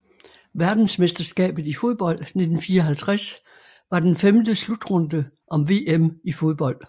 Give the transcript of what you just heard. Verdensmesterskabet i fodbold 1954 var den femte slutrunde om VM i fodbold